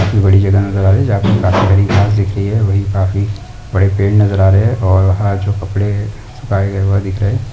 बड़ी जगह नज़र आ रही है जहाँ पे काफी सारी घास दिख रही हैं वहीं काफी बड़े पेड़ नज़र आ रहे है और वहाँ जो कपड़े है सूखाए गये हुआ दिख रहे है।